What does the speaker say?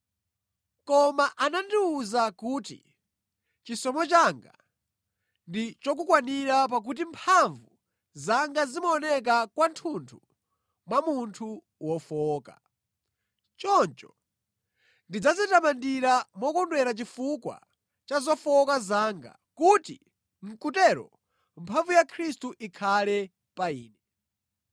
Koma anandiwuza kuti, “Chisomo changa ndi chokukwanira, pakuti mphamvu zanga zimaoneka kwathunthu mwa munthu wofowoka.” Choncho ndidzadzitamandira mokondwera chifukwa cha zofowoka zanga, kuti mʼkutero mphamvu ya Khristu ikhale pa ine.